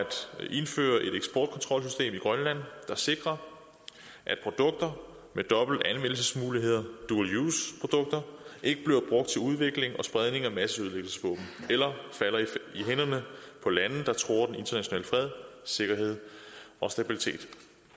indføre et eksportkontrolsystem i grønland der sikrer at produkter med dobbelt anvendelsesmulighed dual use produkter ikke bliver brugt til udvikling og spredning af masseødelæggelsesvåben eller falder i hænderne på lande der truer den internationale fred sikkerhed og stabilitet